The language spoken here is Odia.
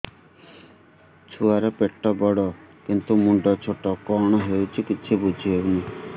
ଛୁଆର ପେଟବଡ଼ କିନ୍ତୁ ମୁଣ୍ଡ ଛୋଟ କଣ ହଉଚି କିଛି ଵୁଝିହୋଉନି